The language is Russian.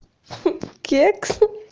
кекс